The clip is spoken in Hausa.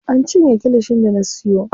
An cinye kilishin da na siyo.